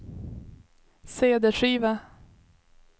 cd-skiva